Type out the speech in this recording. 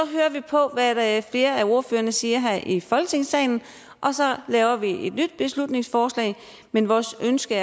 vi på hvad hvad flere af ordførerne siger her i folketingssalen og så laver vi et nyt beslutningsforslag men vores ønske